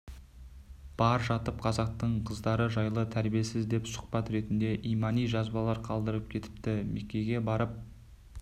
бар жатып қазақтың қыздары жайлы тәрбиесіз деп сұхбат ретінде имани жазбалар қалдырып кетіпті меккеге барып